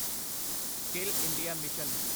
skill India mission